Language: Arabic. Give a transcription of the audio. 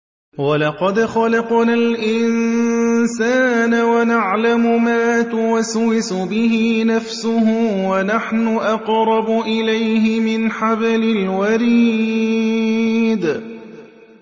وَلَقَدْ خَلَقْنَا الْإِنسَانَ وَنَعْلَمُ مَا تُوَسْوِسُ بِهِ نَفْسُهُ ۖ وَنَحْنُ أَقْرَبُ إِلَيْهِ مِنْ حَبْلِ الْوَرِيدِ